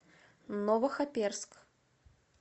новохоперск